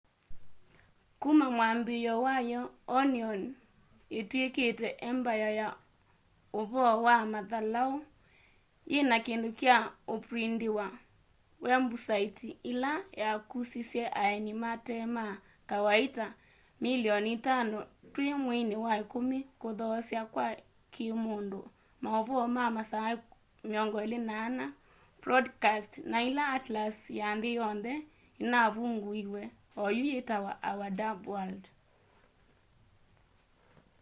kuma mwambiio wayo onion itwikite embaya ya uvoo wa mathalau yina kindu kya uprindiwa wembusaiti ila yakusisye aeni mate ma kawaita 5,000,000 twi mweini wa ikumi kuthoosya kwa kiimundu mauvoo ma masaa 24 podcasts na ila atlas ya nthi yonthe inavunguiwe oyu yitawa our dumb world